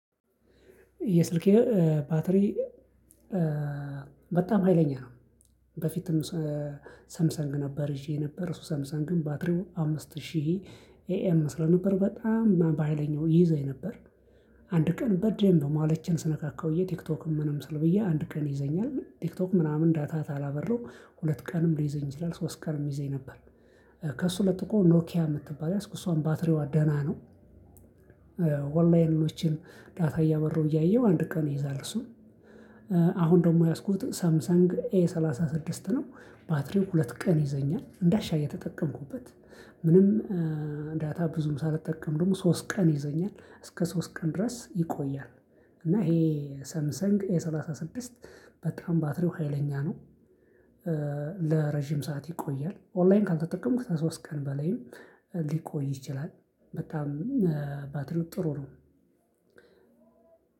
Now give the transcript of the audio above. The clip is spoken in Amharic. የስልኬ ባትሪ በጣም ሀይለኛ ነው። በፊትም ሳምሰንግ ነበር ይዤ ነበር እሱ ሰምሰንግ ባትሪው አምስት ሺህ ኤኤም ስለነበር በጣም በሃይለኛው ይይዘኝ ነበር። አንድ ቀን በደንብ ማለችን ስነካካ ውዬ ቲክቶክም ምንም ስል ውዬ አንድ ቀን ይይዘኛል ቲክቶክ ምናምን ዳታ ካላበራሁ ሁለት ቀንም ሊይዘኝ ይችላል ሶስት ቀንም ይይዘኝ ነበር። ከእሱ ለጥቆ ኖኪያ ምትባል ያዝኩ እሷም ባትሪዋ ደህና ነው። ኦላይኖችን ዳታ እያበራው እያየው አንድ ቀን ይይዛል። እሱ አሁን ደግሞ የያዝኩት ሳምሳንግ ኤ ሰላሳ ስድስት ነው። ባትሪው ሁለት ቀን ይዘኛል እንዳሻው እየተጠቀምኩበት ምንም ዳታ ብዙም ሳልጠቀም ደግሞ ሶስት ቀን ይይዘኛል እስከ ሶስት ቀን ድረስ ይቆያል። እና ይሄ ሰምሰንግ ኤ ሰላሳ ስድስት በጣም ባትሪው ሀይለኛ ነው። ለረጅም ሰዓት ይቆያል ኦንላይን ካልተጠቀምኩ ከሶስት ቀን በላይም ሊቆይ ይችላል። በጣም ባትሪው ጥሩ ነው።